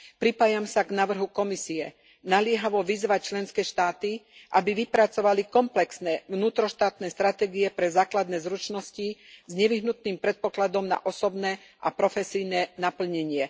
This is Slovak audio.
Pripájam sa k návrhu Komisie naliehavo vyzvať členské štáty, aby vypracovali komplexné vnútroštátne stratégie pre základné zručnosti s nevyhnutným predpokladom na osobné a profesijné naplnenie.